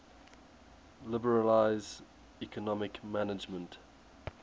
liberalize economic management